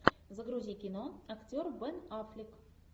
загрузи кино актер бен аффлек